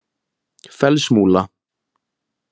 Fellsmúla